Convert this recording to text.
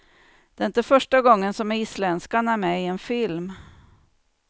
Det är inte första gången som isländskan är med i en film.